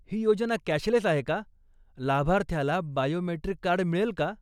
ही योजना कॅशलेस आहे का, लाभार्थ्याला बायोमेट्रिक कार्ड मिळेल का?